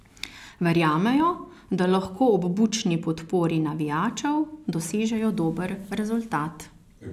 Verjamejo, da lahko ob bučni podpori navijačev dosežejo dober rezultat.